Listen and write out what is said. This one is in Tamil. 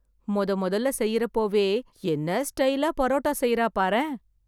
மொதமொதல்ல செய்றப்போவே, என்னா ஸ்டைலா பரோட்டா செய்றா பாரேன்...